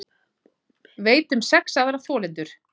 Veit um sex aðra þolendur